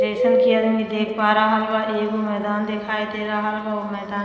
जइसन के आदमी देख पा रहल बा एगो मैदान देखाई दे रहल बा ओ मैदान --